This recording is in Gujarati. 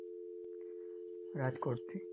રાજકોટથી